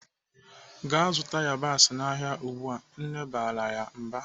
"Gaa zụta yabasị n'ahịa ugbu a!" Nne barala ya mba.